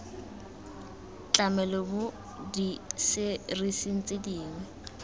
tlamelo mo diserising tse dingwe